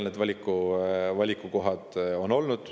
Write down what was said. Nii et sellised need valikukohad on olnud.